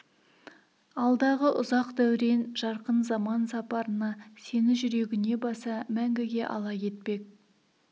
алдағы ұзақ дәурен жарқын заман сапарына сені жүрегіне баса мәңгіге ала кетпек